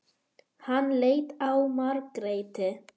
Hann leit á Margréti.